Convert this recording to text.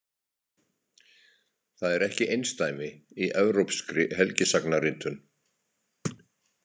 Það er ekki einsdæmi í evrópskri helgisagnaritun.